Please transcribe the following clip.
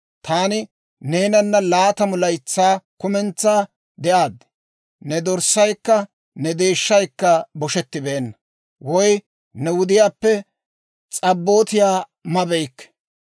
«Taani neenana laatamu laytsaa kumentsaa de'aad; ne dorssaykka ne deeshshaykka boshetibeenna; woy ne wudiyaappe s'abootiyaa mabeykke.